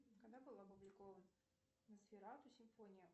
когда был опубликован носферату симфония